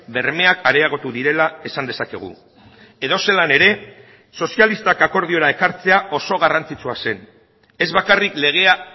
bermeak areagotu direla esan dezakegu edozelan ere sozialistak akordiora ekartzea oso garrantzitsua zen ez bakarrik legea